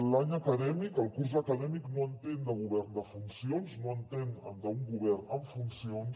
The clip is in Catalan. l’any acadèmic el curs acadèmic no entén de govern en funcions no entén d’un govern en funcions